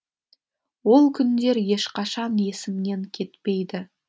ол күндер ешқашан есімнен кетпейді